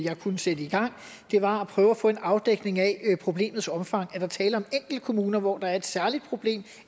kunne sætte i gang var at prøve at få en afdækning af problemets omfang om er tale om enkelte kommuner hvor der er et særligt problem